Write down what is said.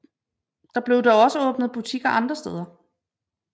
Der blev dog også åbnet butikker andre steder